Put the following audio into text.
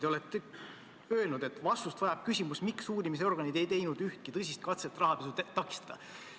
Te olete öelnud, et vastust vajab küsimus, miks uurimisorganid ei teinud ühtki tõsist katset rahapesu takistada.